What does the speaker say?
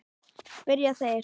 spyrja þeir.